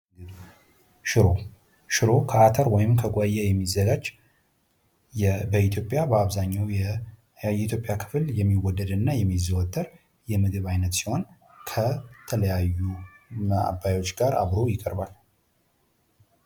ሽሮ ሽሮ ከአርተር ወይም ከጉወያ የሚዘጋጅ በኢትዮጵያ በአብዛኛው የኢትዮጵያ ክፍል የሚወደድ እና የሚዘወትር የምግብ ዓይነት ሲሆን ከተለያዩ ማባያዎች ጋር ይቀርባል።